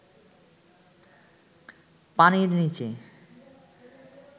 পানির নিচে